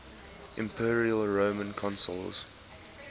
imperial roman consuls